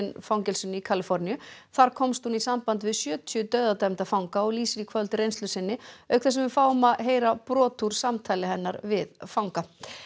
fangelsisins í Kaliforníu þar komst hún í samband við sjötíu dauðadæmda fanga og lýsir í kvöld reynslu sinni auk þess sem við fáum að heyra brot úr samtali hennar við fanga